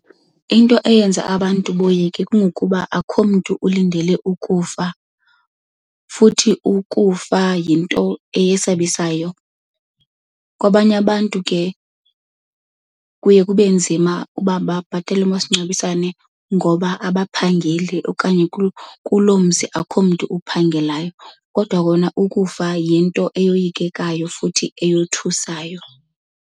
Into eyenza abantu boyike kungokuba akho mntu ulindele ukufa futhi ukufa yinto esabisayo. Kwabanye abantu ke kuye kube nzima uba babhatale umasingcwabisane ngoba abaphangeli okanye kuloo mzi akho mntu ophangelayo. Kodwa kona ukufa yinto eyoyikekayo futhi eyothusayo.